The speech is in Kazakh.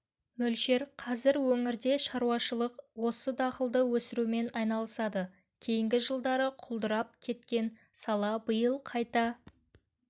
мөлшер қазір өңірде шаруашылық осы дақылды өсірумен айналысады кейінгі жылдары құлдырап кеткен сала биыл қайта